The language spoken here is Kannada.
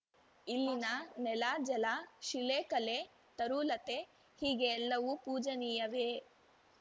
ಇಲ್ಲಿನ ನೆಲಜಲ ಶಿಲೆಕಲೆ ತರುಲತೆ ಹೀಗೆ ಎಲ್ಲವೂ ಪೂಜನೀಯವೇ